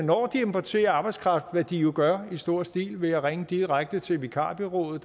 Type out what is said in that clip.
importerer arbejdskraft hvad de jo gør i stor stil ved at ringe direkte til vikarbureauerne